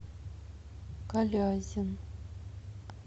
калязин